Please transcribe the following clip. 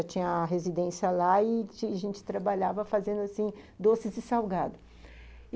Já tinha a residência lá e a gente trabalhava fazendo, assim, doces e salgado.